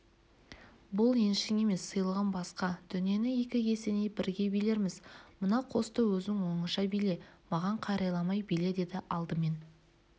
бұл еншің емес сыйлығым басқа дүниені екі есеней бірге билерміз мына қосты өзің оңаша биле маған қарайламай биле деді алдымен